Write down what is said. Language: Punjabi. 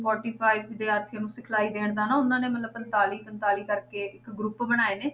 Forty five ਵਿਦਿਆਰਥੀਆਂ ਨੂੰ ਸਿਖਲਾਈ ਦੇਣ ਦਾ ਨਾ ਉਹਨਾਂ ਨੇ ਮਤਲਬ ਪੰਤਾਲੀ ਪੰਤਾਲੀ ਕਰਕੇ ਇੱਕ group ਬਣਾਏ ਨੇ,